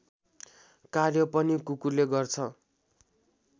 कार्य पनि कुकुरले गर्छ